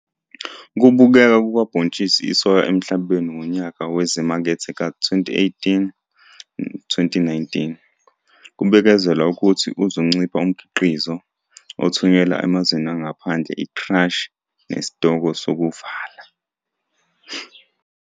Ukubukeka kukabhontshisi isoya emhlabeni ngonyaka wezimakethe ka-2018, 2019, kubikezelwa ukuthi uzoncipha umkhiqizo, othunyelwa emazweni angaphandle i-crush nesitoko sokuvala.